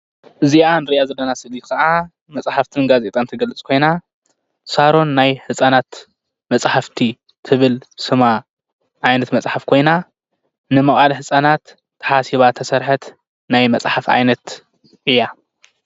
እዚኣ ንርኣ ዘለና ስእሊ ከዓ መፃሓፍትን ጋዜጣን ትገልፅ ኮይና ሳሮን ናይ ህፃናት መፃሓፍቲ ትብል ስማ ዓይነት መፃሓፍ ኮይና ንምዉኣል ህፃናት ተሓሲባ ተሰርሐት ናይ መፃሓፍ ዓይነት እያ።